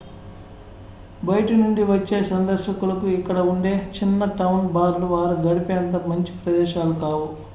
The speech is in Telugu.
జాగ్రత్త బయటి నుండి వచ్చే సందర్శకులకు ఇక్కడ ఉండే చిన్న టౌన్ బార్లు వారు గడిపేంత మంచి ప్రదేశాలు కావు